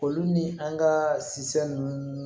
Olu ni an ka si san nunnu